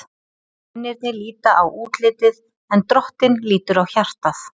Mennirnir líta á útlitið, en Drottinn lítur á hjartað.